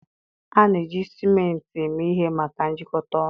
A na-eji ciment eme ihe maka njikọta ọnụ